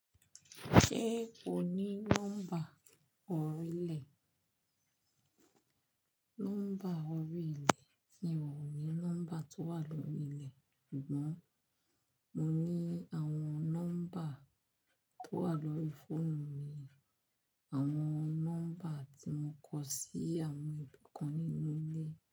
Ṣé o ní nọ́mbà orílẹ̀? Nọ́mbà orí ilẹ̀ mi ọ̀o ní nọ́mbà tó wà lórí ilẹ̀. Sugbọ́n, mo ní àwọn nọ́mbà tó wà lórí fóònù mi, àwọn nọ́mbà tí mo kọ sí àwọn ibì kan nínú ilé.